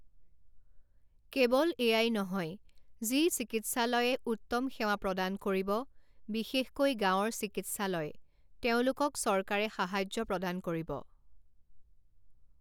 কেৱল এয়াই নহয়, যি চিকিৎলায়ে উত্তম সেৱা প্ৰদান কৰিব, বিশেষকৈ গাঁৱৰ চিকিৎসালয়, তেওঁলোকক চৰকাৰে সাহাৰ্য প্ৰদান কৰিব।